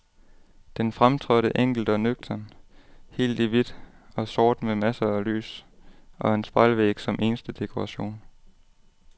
Den fremtrådte enkelt og nøgternt, helt i hvidt og sort med masser af lys og en spejlvæg som eneste dekoration.